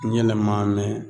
N yɛnɛ ma mɛn